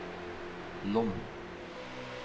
Lom